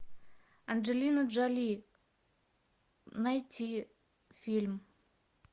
анджелина джоли найти фильм